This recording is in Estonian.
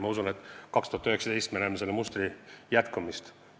Ma usun, et aastal 2019 me näeme selle mustri jätkumist.